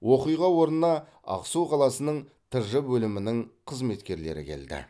оқиға орнына ақсу қаласының тж бөлімінің қызметкерлері келді